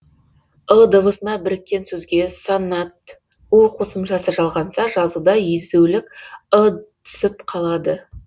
ы дыбысына біркен сөзге сонант у қосымшасы жалғанса жазуда езулік ы түсіп қалады